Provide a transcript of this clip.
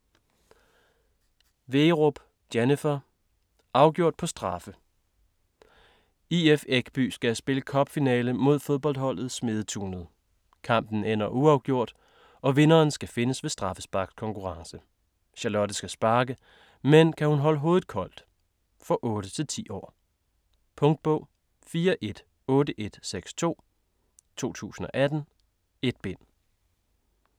Wegerup, Jennifer: Afgjort på straffe! IF Ekby skal spille cup-finale mod fodboldholdet Smedetunet. Kampen ender uafgjort, og vinderen skal findes ved straffesparkskonkurrence. Charlotte skal sparke, men kan hun holde hovedet koldt? For 8-10 år. Punktbog 418162 2018. 1 bind.